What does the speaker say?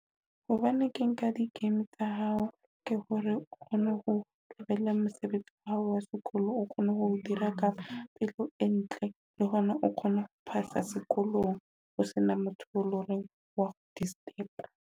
Hobane ke nka di-game tsa hao ke hore o kgone ho tlohela mosebetsi wa hao wa sekolong, o kgone ho dira ka pelo e ntle, le hona o kgone ho phasa sekolong ho sena motho e loreng wa go disturb-a.